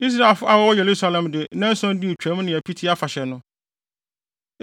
Israelfo a wɔwɔ Yerusalem de nnanson dii Twam ne Apiti Afahyɛ no.